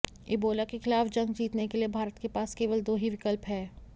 Ebola के खिलाफ जंग जीतने के लिए भारत के पास केवल दो ही विकल्प है